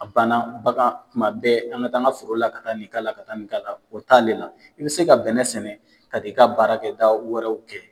A bana bagan, tuma bɛɛ an ka taa an ka foro la ka taa nin k'a la, ka taa nin k'a la , o t'ale la. I bɛ se ka bɛnɛ sɛnɛ ka taa i ka baara kɛ da wɛrɛw kɛ.